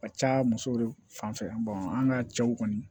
Ka ca musow de fanfɛ an ka cɛw kɔni